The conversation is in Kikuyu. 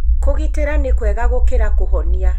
Kũgitĩra nĩ kwega gũkĩra kũhonia.